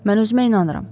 Mən özümə inanıram.